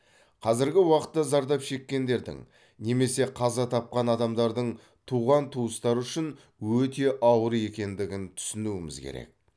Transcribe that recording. қазіргі уақытта зардап шеккендердің немесе қаза тапқан адамдардың туған туыстары үшін өте ауыр екендігін түсінуіміз керек